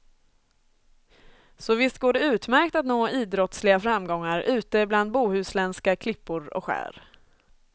Så visst går det utmärkt att nå idrottsliga framgångar ute bland bohuslänska klippor och skär.